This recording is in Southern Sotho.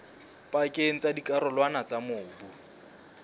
pakeng tsa dikarolwana tsa mobu